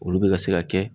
Olu bɛ ka se ka kɛ